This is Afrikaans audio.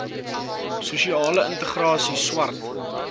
sosiale integrasie swart